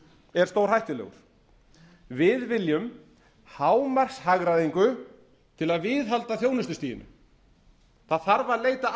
er stórhættulegur við viljum hámarkshagræðingu til að viðhalda þjónustustiginu það þarf að leita